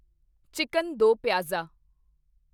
chicken do pyaza